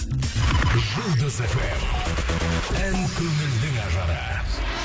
жұлдыз эф эм ән көңілдің ажары